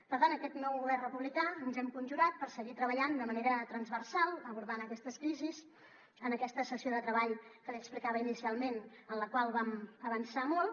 per tant aquest nou govern republicà ens hem conjurat per seguir treballant de manera transversal abordant aquestes crisis en aquesta sessió de treball que li explicava inicialment en la qual vam avançar molt